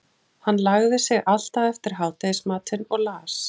Hann lagði sig alltaf eftir hádegismatinn og las